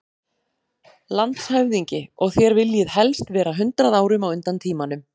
LANDSHÖFÐINGI: Og þér viljið helst vera hundrað árum á undan tímanum.